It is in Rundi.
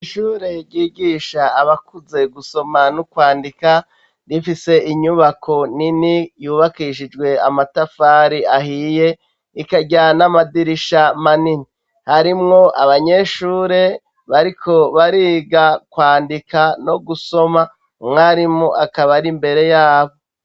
Ishure ryigisha abakuze gusoma no kwandika rifise inyubako nini yubakishijwe amatafari ahiye, ikagira namadirisha manini , harimwo abanyeshure bariko bariga kwandika no gusoma umwarimu akaba ar’imbere yabo.